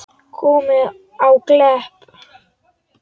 Komið á Klepp?